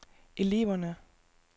eleverne